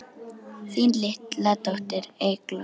Þín litla dóttir, Eygló.